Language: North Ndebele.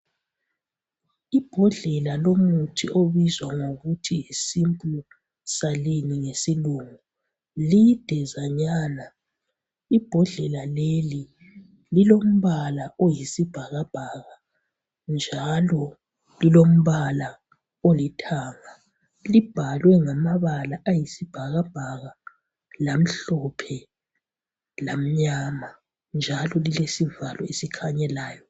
Ibhodlela lomuthi elibizwa kuthiwe yiSimply Saline ngesilungu lidezanyana ibhodlela leli lombala oyisibhakabhaka njalo lilombala olithanga libhalwe ngamabala ayisibhakabhaka lamhlophe lamnyama njalo lilesivalo esilhanyelayo